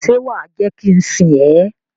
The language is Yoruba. Ṣe wa je ki n sìn ẹ?